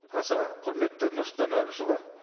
аса құрметті нұрсұлтан әбішұлы